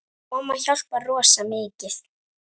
Og mamma hjálpar rosa mikið.